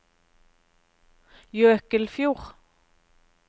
Jøkelfjord